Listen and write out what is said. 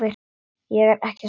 Ég er ekki svangur